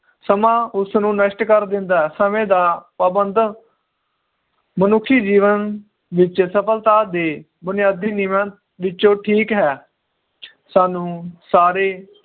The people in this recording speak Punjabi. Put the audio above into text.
ਸਮਾਂ ਉਸਨੂੰ ਨਸ਼ਟ ਕਰ ਦਿੰਦਾ ਹੈ ਸਮੇ ਦਾ ਪਾਬੰਧ ਮਨੁੱਖੀ ਜੀਵਨ ਵਿਚ ਸਫਲਤਾ ਦੇ ਬੁਨਿਆਦੀ ਨਿਯਮ ਵਿਚੋਂ ਠੀਕ ਹੈ ਸਾਨੂੰ ਸਾਰੇ